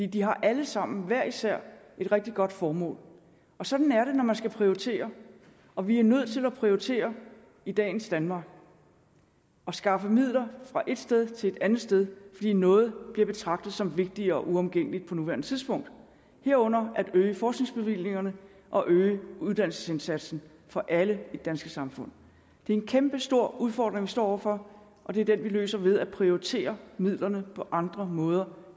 de har alle sammen hver især et rigtig godt formål sådan er det når man skal prioritere og vi er nødt til at prioritere i dagens danmark og skaffe midler fra ét sted til et andet sted fordi noget bliver betragtet som vigtigere og uomgængeligt på nuværende tidspunkt herunder at øge forskningsbevillingerne og øge uddannelsesindsatsen for alle i det danske samfund det er en kæmpestor udfordring vi står over for og det er den vi løser ved at prioritere midlerne på andre måder